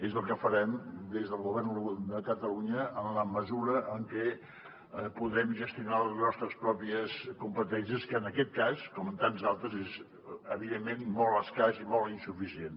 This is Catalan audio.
és el que farem des del govern de catalunya en la mesura en què podem gestionar les nostres pròpies competències que en aquest cas com en tants d’altres és evidentment molt escàs i molt insuficient